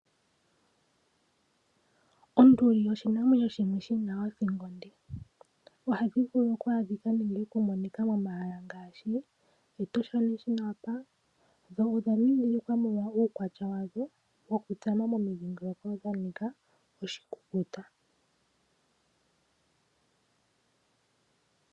Onduli oshinamwenyo shimwe shina othingo onde . Ohashi vulu okwaadhika nenge okumonika momahala ngaashi Etosha National Park dho odha ndhindhilikwa molwa uukwatya wadho mokutsama momidhingoloko dha nika oshikukuta.